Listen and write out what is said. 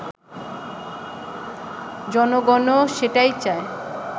জনগণও সেটাই চায়